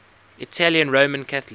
italian roman catholic